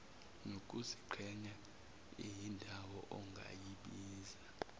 nokuziqhenya iyindawo ongayibiza